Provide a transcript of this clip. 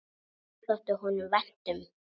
Þetta þótti honum vænt um.